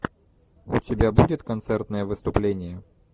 у тебя будет концертное выступление